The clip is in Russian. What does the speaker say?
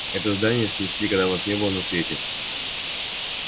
это здание снесли когда вас не было на свете